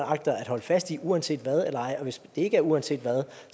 agter at holde fast i uanset hvad og hvis det ikke er uanset hvad